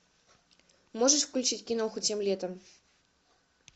можешь включить киноху тем летом